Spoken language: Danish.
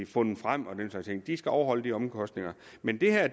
fundet frem og den slags ting de skal afholde de omkostninger men det her er